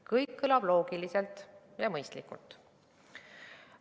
Kõik kõlab loogiliselt ja mõistlikult.